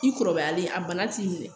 I kɔrɔbayalen a bana t'i minɛ